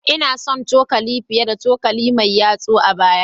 Ina shan cokali fiye da cokali mai yatsa a baya